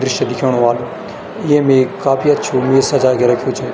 दृश्य दिखेंणु ह्वाल येम ऐक काफी अच्छु मेज सजा कि रख्यूं छ।